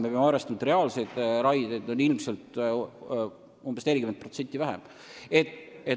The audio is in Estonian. Me peame arvestama, et reaalseid raieid on ilmselt umbes 40% vähem.